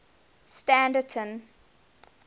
standerton